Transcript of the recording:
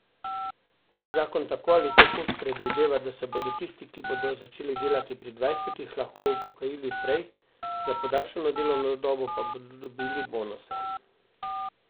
Zakon tako ali tako predvideva, da se bodo tisti, ki bodo začeli delati pri dvajsetih, lahko upokojili prej, za podaljšano delovno dobo pa bodo dobili bonuse.